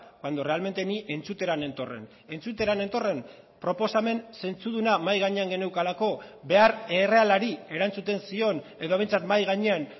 cuando realmente ni entzutera nentorren entzutera nentorren proposamen zentzuduna mahai gainean geneukalako behar errealari erantzuten zion edo behintzat mahai gainean